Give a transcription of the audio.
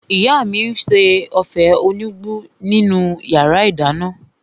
Ìyá mi n ṣe ófé enugbe nínu yàrá -ìdáná